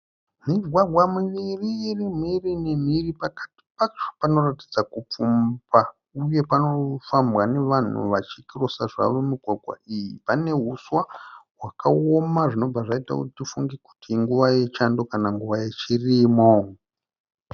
Migwagwa miviri irimhiri nemhiri pakati pacho panoratidza kupfumba uye panofambwa nevanhu vachikirosa zvavo migwagwa iyi. Panehuswa hwakaoma zvinobva zvaita kuti tifunge kuti inguva yechando kana nguva yechirimo.